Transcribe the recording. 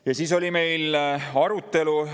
Ja siis oli meil arutelu.